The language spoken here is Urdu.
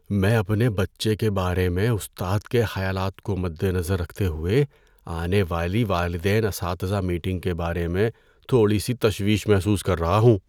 میں اپنے بچے کے بارے میں استاد کے خیالات کو مدنظر رکھتے ہوئے آنے والی والدین اساتذہ میٹنگ کے بارے میں تھوڑی سی تشویش محسوس کر رہا ہوں.